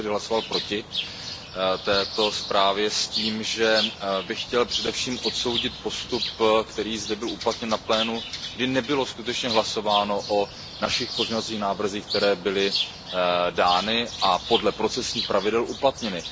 Já jsem tedy hlasoval proti této zprávě s tím, že bych chtěl především odsoudit postup, který zde byl uplatněn na plénu, kdy nebylo skutečně hlasováno o našich pozměňovacích návrzích, které byly dány a podle procesních pravidel uplatněny.